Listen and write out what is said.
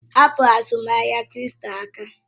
Hapụ azụmahịa kripto aka!